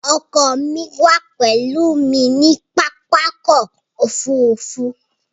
Ọkọ mí wà pèlú mi ní pápákọ̀ ofúrufú